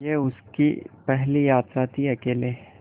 यह उसकी पहली यात्रा थीअकेले